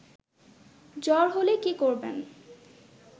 জ্বর হলে কি করবেন